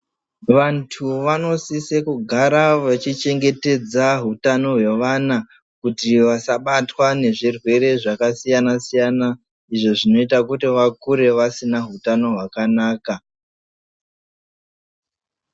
Vantu vanosise kugara vechichengetedza hutano hwevana kuti vasabatwa ngezvirwere zvakasiyana siyana izvo zvinoita kuti vakure vasina hutano hwakanaka.